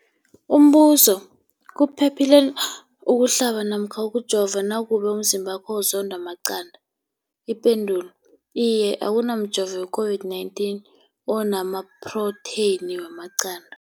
Umbuzo, kuphephile na ukuhlaba namkha ukujova nakube umzimbakho uzondwa maqanda. Ipendulo, iye. Akuna mjovo weCOVID-19 ona maphrotheyini wamaqanda.